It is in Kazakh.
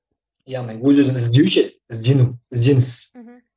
яғни өз өзін іздеу ше іздену ізденіс мхм